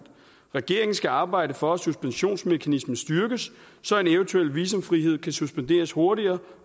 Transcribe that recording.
regeringen skal arbejde for at suspensionsmekanismen styrkes så en eventuel visumfrihed kan suspenderes hurtigere